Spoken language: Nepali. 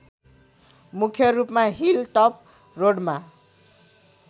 मुख्‍य रूपमा हिल टप रोडमा